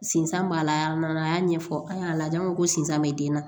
Sinsan b'a la a y'a ɲɛfɔ an y'a lajɛ ko sinzan be den na